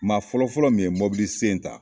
Maa fɔlɔfɔlɔ min ye mɔbili sen ta